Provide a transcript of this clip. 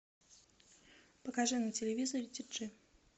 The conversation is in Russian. покажи на телевизоре ти джи